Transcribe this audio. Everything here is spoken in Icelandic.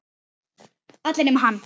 Allir nema hann.